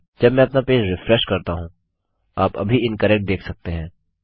जब मैं अपना पेज रिफ्रेश करता हूँ आप अभी इनकरेक्ट देख सकते हैं